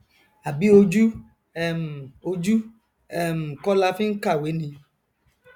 àbí ojú um ojú um kọ la fi nkàwé ni